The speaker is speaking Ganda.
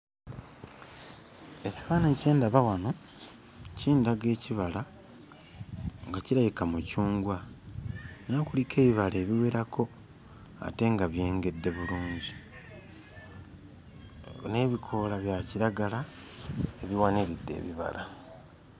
Ekifaananyi kye ndaba wano kindaga ekibala nga kirabika mucungwa era kuliko ebibala ebiwerako ate nga byengedde bulungi, n'ebikoola bya kiragala ebiwaniridde ebibala.